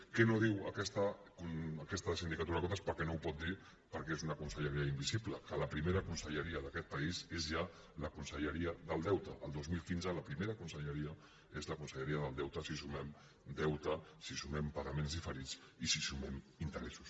què no diu aquesta sindicatura de comptes perquè no ho pot dir perquè és una conselleria invisible que la primera conselleria d’aquest país és ja la conselleria del deute el dos mil quinze la primera conselleria és la conselleria del deute si sumem deute si sumem pagaments diferits i si sumem interessos